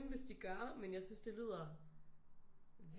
Hvis de gør men jeg synes det lyder